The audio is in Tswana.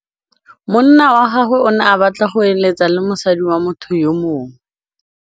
Monna wa gagwe o ne a batla go êlêtsa le mosadi wa motho yo mongwe.